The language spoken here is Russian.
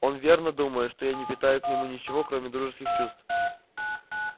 он верно думает что я не питаю к нему ничего кроме дружеских чувств